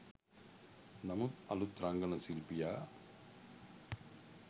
නමුත් අලුත් රංගන ශිල්පියා